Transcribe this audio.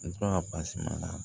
N tora na